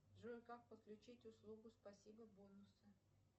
джой как подключить услугу спасибо бонусы